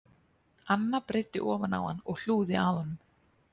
Anna breiddi ofan á hann og hlúði að honum